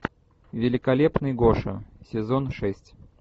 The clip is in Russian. великолепный гоша сезон шесть